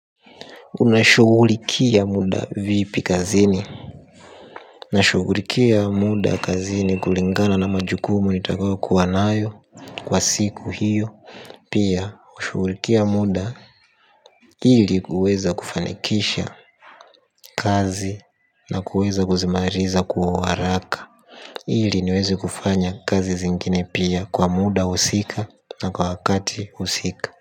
Unashugulikia muda vipi kazini nashughulikia muda kazini kulingana na majukumu nitakayo kuwa nayo kwa siku hiyo. Pia hushugulikia muda hili kuweza kufanikisha kazi na kuweza kuzimariza kwa uharaka. Hili niwezi kufanya kazi zingine pia kwa muda usiku na kwa wakati husika.